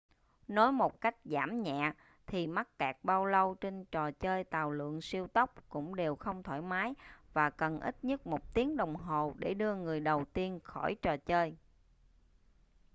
nói một cách giảm nhẹ thì mắc kẹt bao lâu trên trò chơi tàu lượn siêu tốc cũng đều không thoải mái và cần ít nhất một tiếng đồng hồ để đưa người đầu tiên khỏi trò chơi